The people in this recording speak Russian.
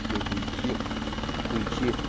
все эти личи хуичи